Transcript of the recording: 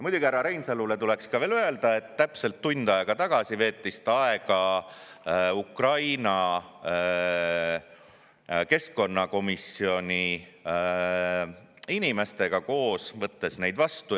Muidugi, härra Reinsalule tuleks veel öelda, et täpselt tund aega tagasi veetis ta aega Ukraina keskkonnakomisjoni inimestega, võttes neid vastu.